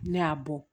Ne y'a bɔ